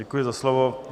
Děkuji za slovo.